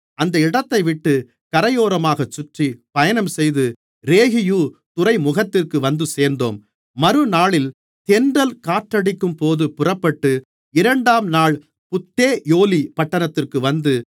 அந்த இடத்தைவிட்டுக் கரையோரமாகச் சுற்றி பயணம்செய்து ரேகியு துறைமுகத்திற்கு வந்துசேர்ந்தோம் மறுநாளில் தென்றல் காற்றடிக்கும்போது புறப்பட்டு இரண்டாம் நாள் புத்தேயோலி பட்டணத்திற்கு வந்து